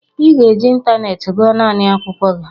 ị ga-eji ịntanetị gụọ naanị akwụkwọ gị!